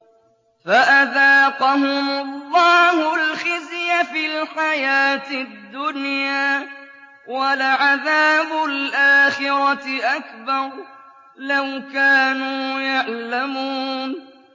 فَأَذَاقَهُمُ اللَّهُ الْخِزْيَ فِي الْحَيَاةِ الدُّنْيَا ۖ وَلَعَذَابُ الْآخِرَةِ أَكْبَرُ ۚ لَوْ كَانُوا يَعْلَمُونَ